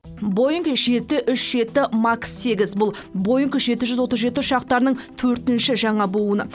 боинг жеті үш жеті макс сегіз бұл боинг жеті жүз отыз жеті ұшақтарының төртінші жаңа буыны